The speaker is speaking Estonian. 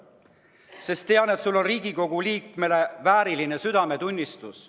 Ma tean, et sul on Riigikogu liikme vääriline südametunnistus.